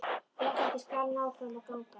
Réttlætið skal ná fram að ganga.